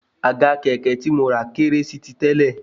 Àga kẹ̀kẹ́ tí mo rà kéré sí ti tẹ́lẹ̀